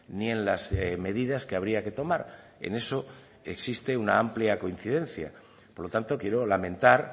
ni en las medidas que habría que tomar en eso existe una amplia coincidencia por lo tanto quiero lamentar